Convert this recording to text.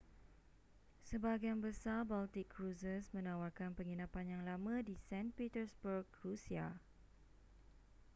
sebahagian besar baltic cruises menawarkan penginapan yang lama di st petersburg rusia